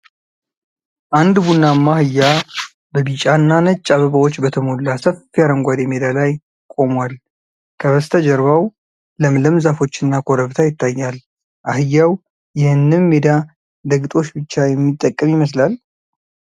አንድ ቡናማ አህያ በቢጫ እና ነጭ አበባዎች በተሞላ ሰፊ አረንጓዴ ሜዳ ላይ ቆሟል። ከበስተጀርባው ለምለም ዛፎች እና ኮረብታ ይታያል። አህያው ይህንን ሜዳ ለግጦሽ ብቻ የሚጠቀም ይመስላል?